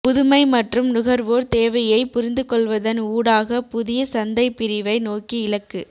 புதுமை மற்றும் நுகர்வோர் தேவையைப் புரிந்துகொள்வதன் ஊடாக புதிய சந்தைப் பிரிவை நோக்கி இலக்கு